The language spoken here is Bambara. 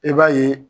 I b'a ye